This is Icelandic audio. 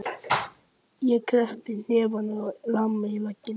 Ég kreppi hnefann og lem í vegginn.